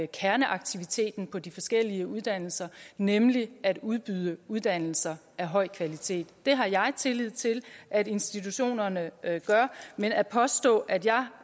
kerneaktiviteten på de forskellige uddannelser nemlig at udbyde uddannelser af høj kvalitet det har jeg tillid til at institutionerne gør men at påstå at jeg